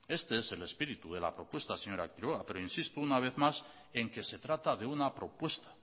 este es el espíritu de la propuesta señora quiroga pero insisto una vez más en que se trata de una propuesta